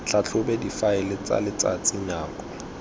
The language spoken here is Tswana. tlhatlhobe difaele tsa letsatsi nako